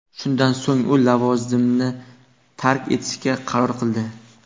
Shundan so‘ng u lavozimini tark etishga qaror qildi.